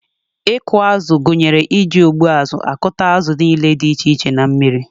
Ịkụ azụ gụnyere iji ụgbụazụ akụta azụ niile dị iche iche na mmiri.